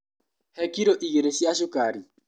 He kiro igĩrĩ cia cukari.